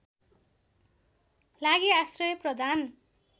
लागि आश्रय प्रदान